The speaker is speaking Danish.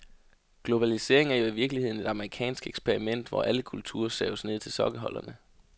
Globalisering er jo i virkeligheden et amerikansk eksperiment, hvor alle kulturer saves ned til sokkeholderne.